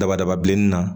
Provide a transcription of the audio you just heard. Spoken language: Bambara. Dabadaba bilenni na